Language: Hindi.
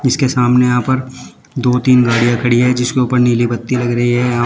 इसके सामने यहां पर दो तीन गाड़ियां खड़ी है जिसके ऊपर नीली बत्ती लग रही है यहां--